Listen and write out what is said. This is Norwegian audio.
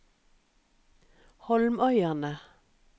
Holmøyane